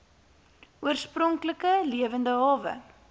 oorspronklike lewende hawe